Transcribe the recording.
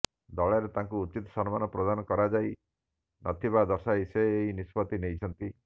ଦଳରେ ତାଙ୍କୁ ଉଚିତ ସମ୍ମାନ ପ୍ରଦାନ କରାଯାଇ ନ ଥିବା ଦର୍ଶାଇ ସେ ଏହି ନିଷ୍ପତ୍ତି ନେଇଛନ୍ତି